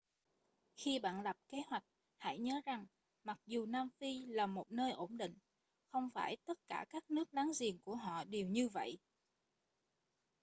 khi bạn lập kế hoạch hãy nhớ rằng mặc dù nam phi là một nơi ổn định không phải tất cả các nước láng giềng của họ đều như vậy